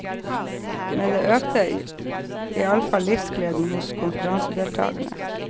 Med det økte iallfall livsgleden hos konferansedeltagerne.